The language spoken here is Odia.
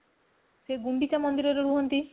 ସେ ଗୁଣ୍ଡିଚା ମନ୍ଦିର ରେ ରୁହନ୍ତି